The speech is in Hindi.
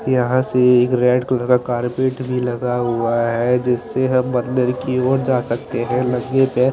यहाँ से एक रेड कलर का कारर्पेट भी लगा हुआ है जिससे हम अन्दर की और जा सकते हैं नंगे पैर।